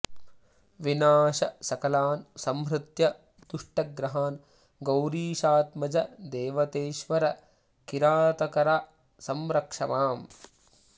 विनाश सकलान् संहृत्य दुष्टग्रहान् गौरीशात्मज दैवतेश्वर किरातकार संरक्षमाम्